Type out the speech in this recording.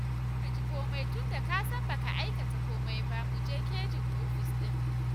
Kar ka ji komai tunda ka san ba ka aikata komai ba, mu je caji ofis ɗin